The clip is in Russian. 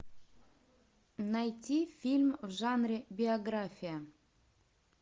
найти фильм в жанре биография